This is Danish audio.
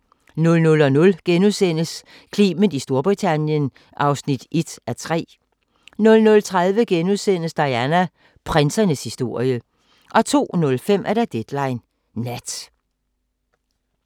00:00: Clement i Storbritannien (1:3)* 00:30: Diana – prinsernes historie * 02:05: Deadline Nat